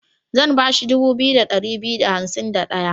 Zan ba shi dubu biyu da ɗari biyu da hansim da ɗaya.